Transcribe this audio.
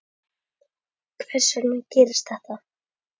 Hvers vegna gerist þetta?